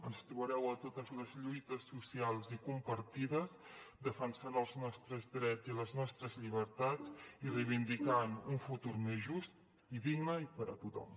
ens trobareu a totes les lluites socials i compartides defensant els nostres drets i les nostres llibertats i reivindicant un futur més just i digne per a tothom